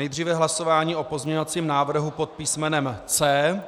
Nejdříve hlasování o pozměňovacím návrhu pod písmenem C,